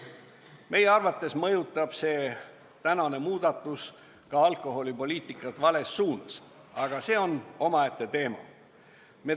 Meie arvates mõjutab tehtav muudatus alkoholipoliitikat vales suunas, aga see on omaette teema.